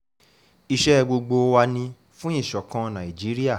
iṣẹ́ gbogbo wa ni fún ìṣọ̀kan nàìjíríà